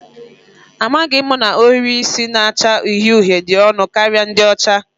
Amaghị m na ohiri isi na-acha uhie uhie dị ọnụ karịa ndị ọcha